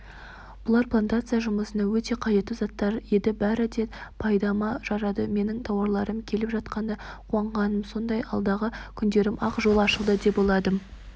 бұлар плантация жұмысына өте қажетті заттар еді бәрі де пайдама жарады менің тауарларым келіп жеткенде қуанғаным сондай алдағы күндеріме ақ жол ашылды деп ойладым